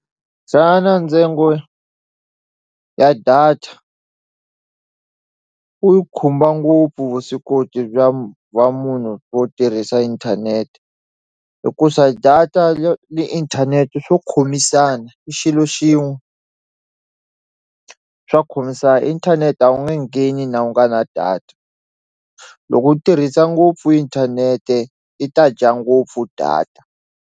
Xana ntsengo ya data u khumba ngopfu vuswikoti bya va munhu wo tirhisa inthanete hikusa data yo ni inthanete swo khomisana i xilo xin'we swa khomisa inthanete a wu nge ngheni na u nga na data loko u tirhisa ngopfu inthanete i ta dya ngopfu data.